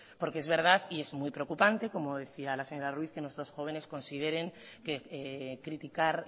porque es verdad y el muy preocupante como decía la señora ruiz que nuestros jóvenes consideren que criticar